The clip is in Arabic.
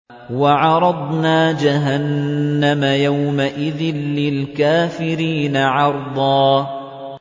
وَعَرَضْنَا جَهَنَّمَ يَوْمَئِذٍ لِّلْكَافِرِينَ عَرْضًا